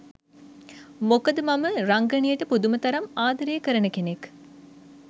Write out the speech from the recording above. මොකද මම රංගනයට පුදුම තරම් ආදරේ කරන කෙනෙක්.